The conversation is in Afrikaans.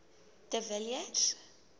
de villiers